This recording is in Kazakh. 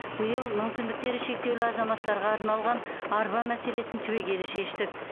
биыл мүмкіндіктері шектеулі азаматтарға арналған арба мәселесін түбегейлі шештік